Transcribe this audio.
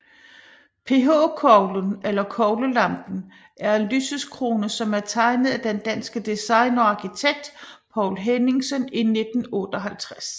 PH Koglen eller Koglelampen er en lysekrone som er tegnet af den danske designer og arkitekt Poul Henningsen i 1958